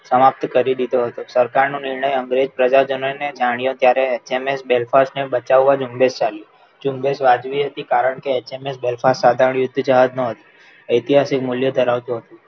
સમાપ્ત કરી દીધો હતો. સરકાર નો નીણય અંગ્રેજ પ્રજાજનોને જાણ્યો ત્યારે એચએમએસ Belfast ને બચાવવા જ જુમ્બેસ ચાલ્યો. જુમ્બેસ વ્યાજબી હતી કારણ કે એચએમએસ Belfast આગળ યુદ્ધ જહાજનું હતું. ઐતિહાસિક મુલ્ય ધરાવતું હતું.